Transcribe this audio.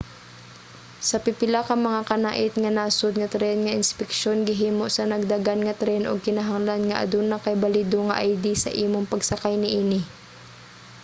sa pipila ka mga kanait-nga nasod nga tren nga inspeksyon gihimo sa nagdagan nga tren ug kinahanglan nga aduna kay balido nga id sa imong pagsakay niini